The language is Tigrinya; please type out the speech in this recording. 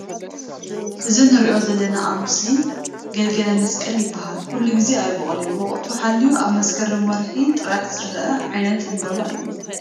እዚ ንሪኦ ዘለና ኣብ ምስሊ ገልገለ መስቀል ይበሃል ኩሉ ግዜ ኣይቦቅልን ወቅቱ ሓልዩ ኣብ ምስክርም ወርሒ ጥራሕ ዝርአ ዓይነት ዕምበባ እዩ ።